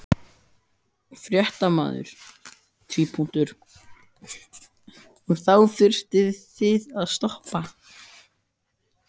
Fréttamaður: Og þá þurftuð þið að stoppa?